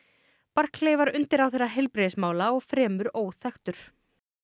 barclay var undirráðherra heilbrigðismála og fremur óþekktur